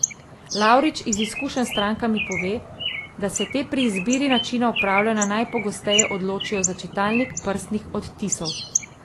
Lavrič iz izkušenj s strankami pove, da se te pri izbiri načina upravljanja najpogosteje odločijo za čitalnik prstnih odtisov.